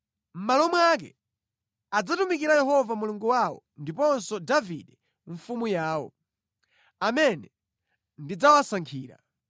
Mʼmalo mwake, adzatumikira Yehova Mulungu wawo ndiponso Davide mfumu yawo, amene ndidzawasankhira.